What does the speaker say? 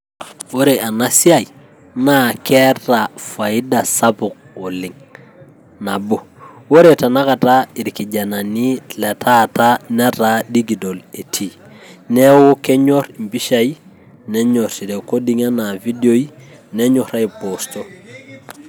Ore ena siai naa keeta faida SAPUK oleng' nabo, ore tenakata irkijanani letanakata netaa dijital etii, neaku kennyorr empishai, nenyorr irekoding enaa ividiioi nenyorr aiposto.